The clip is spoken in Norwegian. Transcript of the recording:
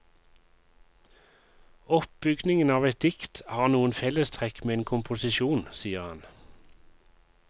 Oppbygningen av et dikt har noen fellestrekk med en komposisjon, sier han.